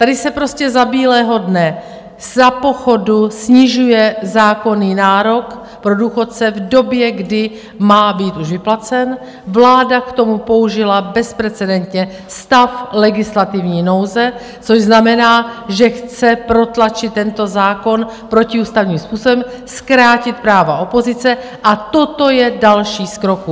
Tady se prostě za bílého dne, za pochodu snižuje zákonný nárok pro důchodce, v době, kdy má být už vyplacen, vláda k tomu použila bezprecedentně stav legislativní nouze, což znamená, že chce protlačit tento zákon protiústavním způsobem, zkrátit práva opozice, a toto je další z kroků.